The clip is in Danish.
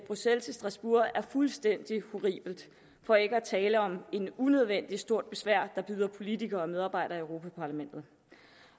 bruxelles til strasbourg er fuldstændig horribelt for ikke at tale om et unødvendig stort besvær der bydes politikere og medarbejdere i europa parlamentet